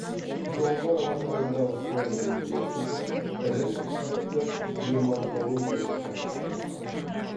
жоңғар алатауындағы соңғы мұз басудың ірі масштабты геоморфологиялық картасы жасалды